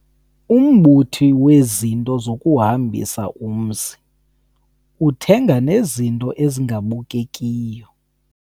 Umbuthi wezinto zokuhombisa umzi uthenga nezinto ezingabukekiyo.